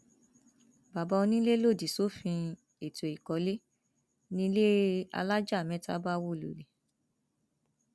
bàbá onílé lòdì sófin ètò ìkọlé nílé alájà mẹta bá wó lulẹ